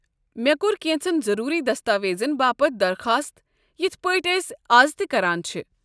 مےٚ كو٘ر كینژن ضروٗری دستاویزن باپت درخاست یِتھ پٲٹھۍ أسۍ از تہ کران چھِ۔